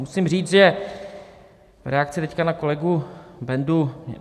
Musím říct v reakci teď na kolegu Bendu.